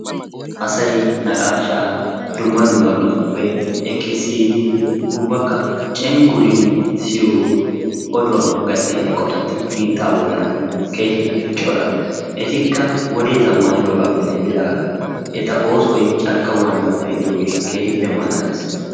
Asay naqaashshaa dumma dummabatupe ekki siyidi ubbaka cengguridi gaattiyaa oduwaa eqotati biittaa boolan keehippe cora. Etikka wodee zammanidoogappe denddigaan eta oosoy carkko bollaan pe'iyoogee keehippe malaalees.